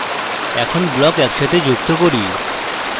এখন blocks একসাথে যুক্ত করি